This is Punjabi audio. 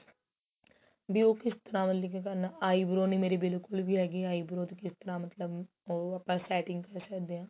ਬੀ ਉਹ ਕਿਸ ਤਰਾਂ ਮਤਲਬ ਕੀ ਕਰਨਾ eyebrow ਨੀਂ ਮੇਰੀ ਬਿਲਕੁਲ ਵੀ ਹੈਗੀ eyebrow ਤੇ ਕਿਸ ਤਰਾਂ ਮਤਲਬ ਉਹ ਆਪਾਂ setting ਕਰ ਸਕਦੇ ਆ